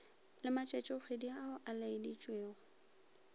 le matšatšikgwedi ao a laeditšwego